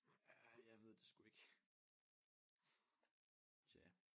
Ja jeg ved det sgu ikke tja